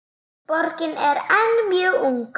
Borgin er enn mjög ung.